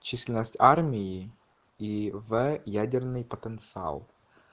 численность армии и в ядерный потенциал